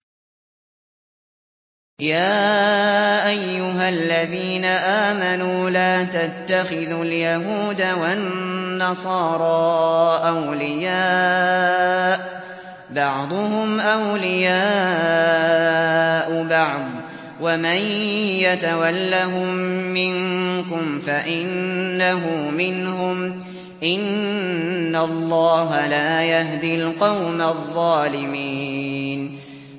۞ يَا أَيُّهَا الَّذِينَ آمَنُوا لَا تَتَّخِذُوا الْيَهُودَ وَالنَّصَارَىٰ أَوْلِيَاءَ ۘ بَعْضُهُمْ أَوْلِيَاءُ بَعْضٍ ۚ وَمَن يَتَوَلَّهُم مِّنكُمْ فَإِنَّهُ مِنْهُمْ ۗ إِنَّ اللَّهَ لَا يَهْدِي الْقَوْمَ الظَّالِمِينَ